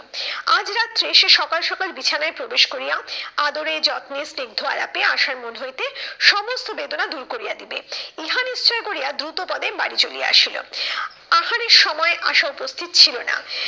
আজ রাত্রে সে সকাল সকাল বিছানায় প্রবেশ করিয়া আদরে, যত্নে, স্নিগ্ধ আলাপে আশার মন হইতে সমস্ত বেদনা দূর করিয়া দিবে। ইহা নিশ্চয় করিয়া দ্রুত পদে বাড়ি চলিয়া আসিলো। আহারের সময় আশা উপস্থিত ছিল না,